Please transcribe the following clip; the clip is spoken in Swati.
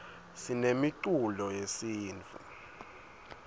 sinemiculo yesintfu